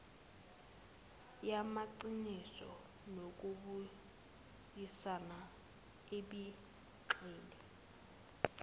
yamaqiniso nokubuyisana ebigxile